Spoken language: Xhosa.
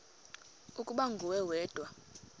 ukuba nguwe wedwa